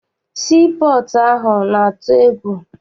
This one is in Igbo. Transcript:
Sii pọọtụ ahụ na-atụ egwu.